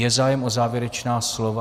Je zájem o závěrečná slova?